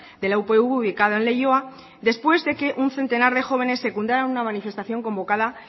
de la upv ubicado en leioa después de que un centenar de jóvenes secundara una manifestación convocada